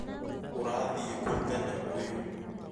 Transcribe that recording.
Ũrathiĩ kũ tene uyu?